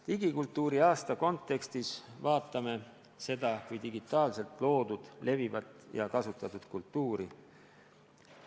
Digikultuuriaasta kontekstis vaatame seda kui digitaalselt loodud, levivat ja kasutatavat kultuuri.